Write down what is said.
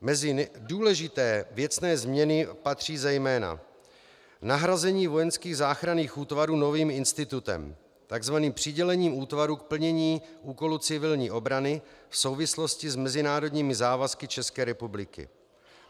Mezi důležité věcné změny patří zejména nahrazení vojenských záchranných útvarů novým institutem, tzv. přidělením útvaru k plnění úkolů civilní obrany v souvislosti s mezinárodními závazky České republiky.